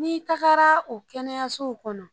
N'i tagara o kɛnɛyasow kɔnɔ.